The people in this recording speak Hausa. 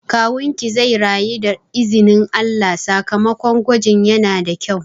Kawunki zai rayu da izinin Allah, sakamakon gwajin yana da kyau